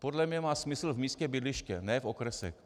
Podle mě má smysl v místě bydliště, ne v okresech.